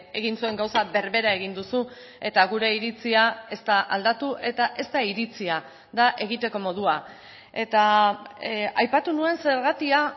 egin zuen gauza berbera egin duzu eta gure iritzia ez da aldatu eta ez da iritzia da egiteko modua eta aipatu nuen zergatia